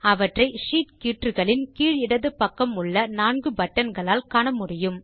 அவற்றை ஷீட் கீற்றுகளின் கீழ் இடது பக்கம் உள்ள நான்கு பட்டன் களால் காண முடியும்